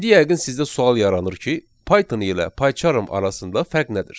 İndi yəqin sizdə sual yaranır ki, Python ilə PyCharm arasında fərq nədir?